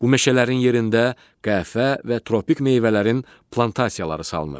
Bu meşələrin yerində qəhvə və tropik meyvələrin plantasiyaları salınır.